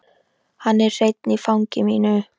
Hann er hreinn í fangi mínu.